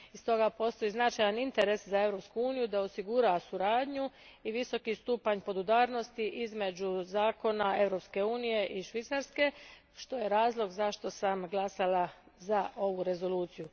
Stoga postoji značajan interes za Europsku uniju da osigura suradnju i visoki stupanj podudarnosti između zakona Europske unije i Švicarske, što je razlog zašto sam glasala za ovu rezoluciju.